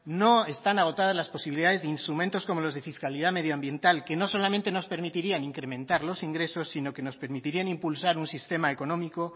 no están agotadas las posibilidades de instrumentos como los de fiscalidad medioambiental que no solamente nos permitirían incrementar los ingresos sino que nos permitirían impulsar un sistema económico